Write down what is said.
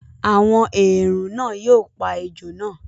“àwọn èèrùn ” náà yóò pa ejò náà.